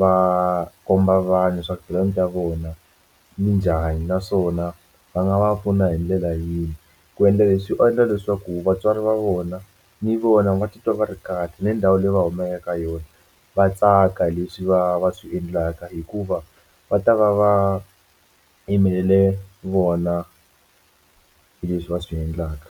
va komba vanhu swa ku talenta ya vona yinjhani naswona va nga va pfuna hi ndlela yihi ku endla leswi endla leswaku vatswari va vona ni vona va titwa va ri kahle ni ndhawu leyi va humaka eka yona va tsaka hi leswi va va swi endlaka hikuva va ta va va yimelele vona hi leswi va swi endlaka.